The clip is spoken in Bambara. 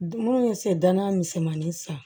Minnu ye sen danna misɛmani san